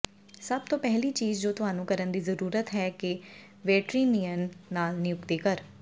ਸਭ ਤੋਂ ਪਹਿਲੀ ਚੀਜ਼ ਜੋ ਤੁਹਾਨੂੰ ਕਰਨ ਦੀ ਜ਼ਰੂਰਤ ਹੈ ਇੱਕ ਵੈਟਰੀਨੇਰੀਅਨ ਨਾਲ ਨਿਯੁਕਤੀ ਕਰ